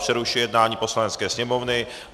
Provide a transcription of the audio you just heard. Přerušuji jednání Poslanecké sněmovny.